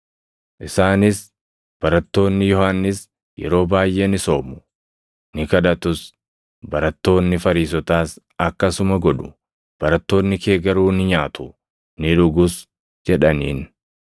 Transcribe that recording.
Isaanis, “Barattoonni Yohannis yeroo baayʼee ni soomu; ni kadhatus; barattoonni Fariisotaas akkasuma godhu; barattoonni kee garuu ni nyaatu; ni dhugus” jedhaniin.